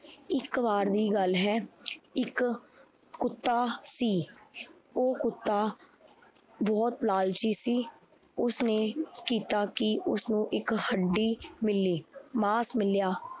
ਇੱਕ ਵਾਰ ਦੀ ਗੱਲ ਹੈ ਇੱਕ ਕੁੱਤਾ ਸੀ ਉਹ ਕੁੱਤਾ ਬਹੁਤ ਲਾਲਚੀ ਸੀ, ਉਸਨੇ ਕੀਤਾ ਕੀ ਉਸਨੂੰ ਇੱਕ ਹੱਡੀ ਮਿਲੀ ਮਾਸ ਮਿਲਿਆ।